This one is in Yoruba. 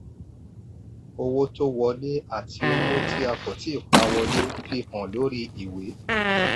owó tó wọlé àti owó tí a kò tíi pa wọlé fi hàn lórí ìwé.